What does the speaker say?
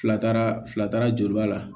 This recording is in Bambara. Fila taara fila taara juruba la